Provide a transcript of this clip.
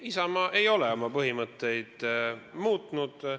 Ei, Isamaa ei ole oma põhimõtteid muutnud.